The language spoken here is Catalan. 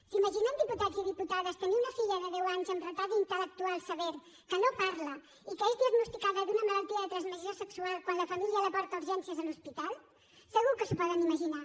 s’imaginen diputats i diputades tenir una filla de deu anys amb retard intel·lectual sever que no parla i que és diagnosticada d’una malaltia de transmissió sexual quan la família la porta a urgències a l’hospital segur que s’ho poden imaginar